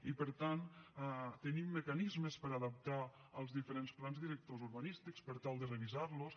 i per tant tenim mecanismes per adaptar els diferents plans directors urbanístics per tal de revisar los